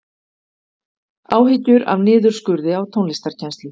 Áhyggjur af niðurskurði á tónlistarkennslu